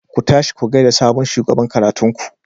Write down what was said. Ku tashi ku gaida sabon shugaban karatun ku.